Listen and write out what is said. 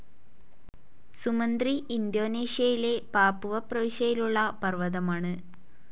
Sumantri ഇന്തോനേഷ്യയിലെ Papua പ്രവിശ്യയിലുള്ള പർവ്വതമാണ്.